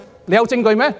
有證據嗎？